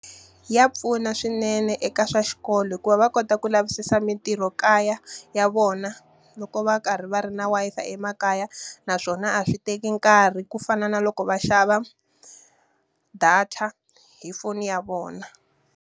Ya pfuna swinene eka swa xikolo hikuva va kota ku lavisisa mintirho kaya ya vona, loko va karhi va ri na Wi-Fi emakaya. Naswona a swi teka nkarhi ku fana na loko va xava data hi foni ya vona.